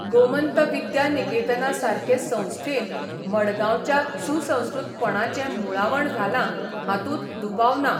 गोमंत विद्या निकेतना सारके संस्थेन मडगांवच्या सुसंस्कृतपणाचें मुळावण घालां हातूंत दुबाव ना.